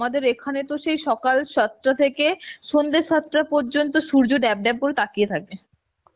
আমাদের এখানে তো সে সকাল সাতটা থেকে সন্ধ্যা সাতটা পর্যন্ত সূর্য ড্যাব ড্যাব করে তাকিয়ে থাকবে